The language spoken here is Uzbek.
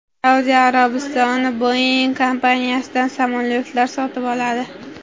Saudiya Arabistoni Boeing kompaniyasidan samolyotlar sotib oladi.